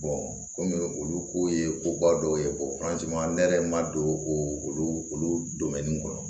kɔmi olu ko ye ko ba dɔw ye ne yɛrɛ ma don o olu kɔnɔ